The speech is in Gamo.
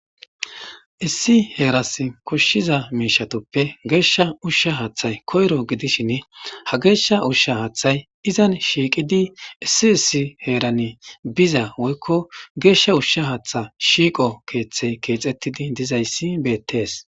issi heeras koshshiza miishatoppe geeshsha ushsha haaththay koyro gidishin ha geeshsha ushsha haaththay izan shiiqidi issi issi heerani biza woykko geeshsha ushsha haatha shiiqo keeththey keexettidi dizayssi beettees